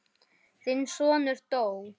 En það er erfitt.